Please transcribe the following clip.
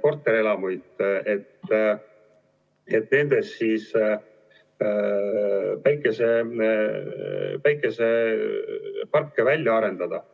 korterelamuid, et nendes päikeseparke välja arendada.